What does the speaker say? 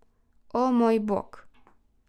O, moj bog.